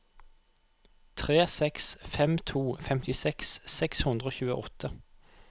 tre seks fem to femtiseks seks hundre og tjueåtte